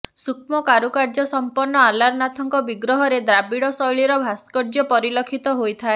ସୂକ୍ଷ୍ମ କାରୁକାର୍ଯ୍ୟ ସମ୍ପନ୍ନ ଅଲାରନାଥଙ୍କ ବିଗ୍ରହରେ ଦ୍ରାବିଡ଼ ଶୈଳୀର ଭାସ୍କର୍ଯ୍ୟ ପରିଲକ୍ଷିତ ହୋଇଥାଏ